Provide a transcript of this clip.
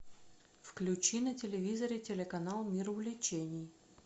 включи на телевизоре телеканал мир увлечений